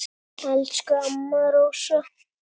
Elsku amma Rósa.